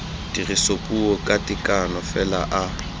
tirisopuo ka tekano fela a